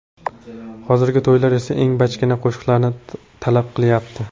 Hozirgi to‘ylar esa eng bachkana qo‘shiqlarni talab qilyapti .